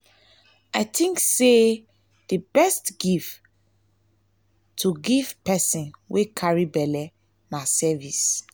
i think sey di best gift to best gift to give pesin wey carry belle na service.